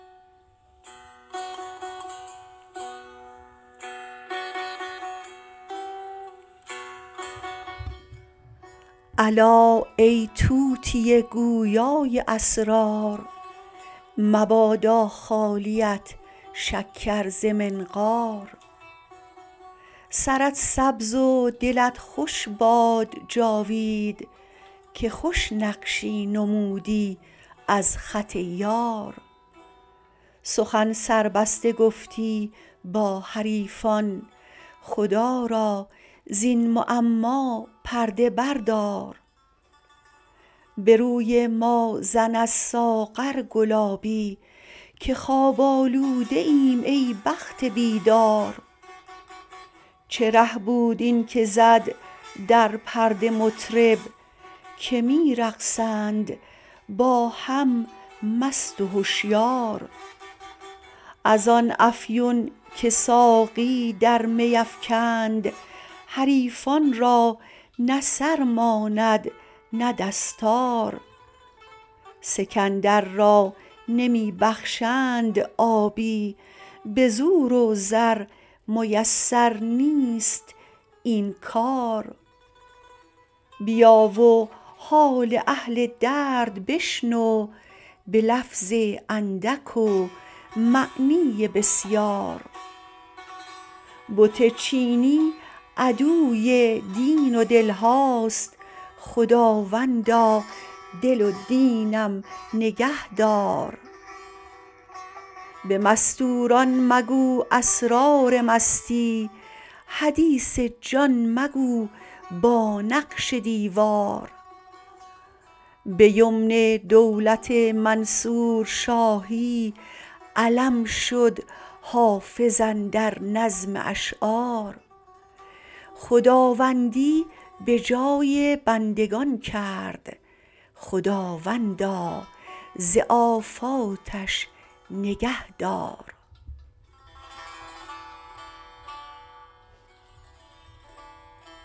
الا ای طوطی گویا ی اسرار مبادا خالیت شکر ز منقار سرت سبز و دلت خوش باد جاوید که خوش نقشی نمودی از خط یار سخن سربسته گفتی با حریفان خدا را زین معما پرده بردار به روی ما زن از ساغر گلابی که خواب آلوده ایم ای بخت بیدار چه ره بود این که زد در پرده مطرب که می رقصند با هم مست و هشیار از آن افیون که ساقی در می افکند حریفان را نه سر ماند نه دستار سکندر را نمی بخشند آبی به زور و زر میسر نیست این کار بیا و حال اهل درد بشنو به لفظ اندک و معنی بسیار بت چینی عدوی دین و دل هاست خداوندا دل و دینم نگه دار به مستور ان مگو اسرار مستی حدیث جان مگو با نقش دیوار به یمن دولت منصور شاهی علم شد حافظ اندر نظم اشعار خداوندی به جای بندگان کرد خداوندا ز آفاتش نگه دار